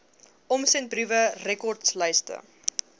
omsendbriewe rekords lyste